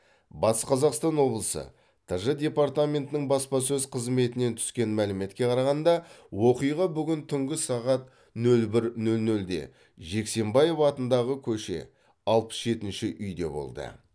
батыс қазақстан обылысы тж департаментінің баспасөз қызметінен түскен мәліметке қарағанда оқиға бүгін түнгі сағат нөл бір нөл нөлде жексенбаев атындағы көше алпыс жетінші үйде болды